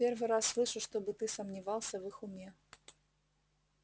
первый раз слышу чтобы ты сомневался в их уме